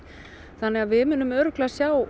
þannig að við munum örugglega sjá